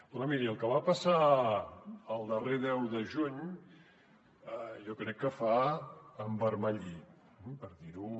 però miri el que va passar el darrer deu de juny jo crec que fa envermellir per dir ho